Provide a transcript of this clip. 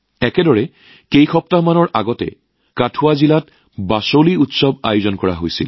একেদৰে কিছু সপ্তাহ পূৰ্বে কথুৱা জিলাত বসোহলীউৎসৱৰ আয়োজন কৰা হৈছিল